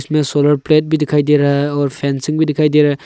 इसमें solar plate भी दिखाई दे रहा है और फेंसिंग भी दिखाई दे रहा है।